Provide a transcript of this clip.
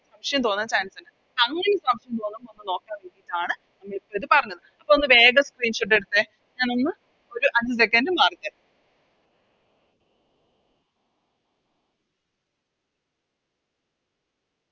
സംശയം തോന്നാൻ Chance ഇണ്ട് അങ്ങനെ സംശയം തോന്നുമ്പോ ഒന്ന് നോക്കാൻ വേണ്ടീട്ടാണ് നമ്മളിപ്പോ ഇത് പറഞ്ഞത് ഒന്ന് വേഗം Screenshot എടുത്തേ ഞാൻ ഒന്ന് ഒര് അഞ്ച് Second മാറിത്തരാം